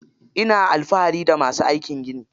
Ina alfahari da masu aikin gini.